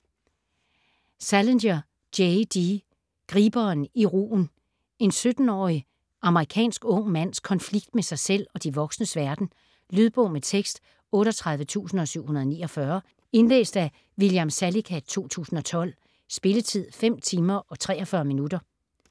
Salinger, J. D.: Griberen i rugen En 17-årig amerikansk ung mands konflikt med sig selv og de voksnes verden. Lydbog med tekst 38749 Indlæst af William Salicath, 2012. Spilletid: 5 timer, 43 minutter.